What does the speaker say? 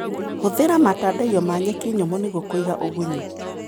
Hũthĩra matandaiyo ma nyeki nyũmũ nĩguo kũiga ũgunyu.